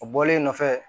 O bɔlen kɔfɛ